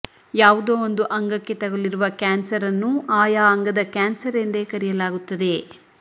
ಯಾವುದೋ ಒಂದು ಅಂಗಕ್ಕೆ ತಗಲಿರುವ ಕ್ಯಾನ್ಸರ್ ಅನ್ನು ಆಯಾ ಅಂಗದ ಕ್ಯಾನ್ಸರ್ ಎಂದೇ ಕರೆಯಲಾಗುತ್ತದೆ